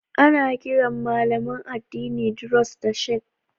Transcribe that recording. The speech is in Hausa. Ana kiran malaman addinin Druze da "Sheikh"